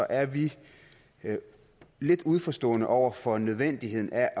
er vi lidt uforstående over for nødvendigheden af